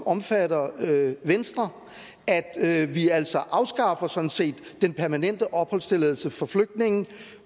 omfatter venstre at vi altså sådan set afskaffer den permanente opholdstilladelse for flygtninge